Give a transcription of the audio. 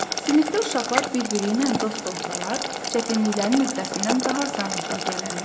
Sinifdə uşaqlar bir-biri ilə dost olsalar, çətinliklərin öhdəsindən daha asanlıqla gələrlər.